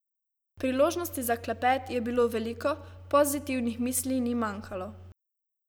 Priložnosti za klepet je bilo veliko, pozitivnih misli ni manjkalo.